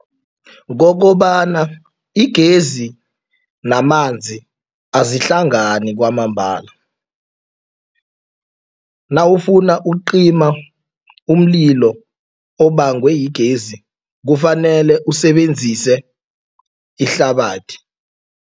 Kokobana igezi namanzi azihlangani kwamambala. Nawufuna ukucima umlilo obangwa yigezi kufanele usebenzise ihlabathi.